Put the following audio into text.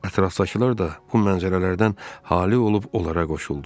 Ətrafdakılar da bu mənzərələrdən hali olub onlara qoşuldu.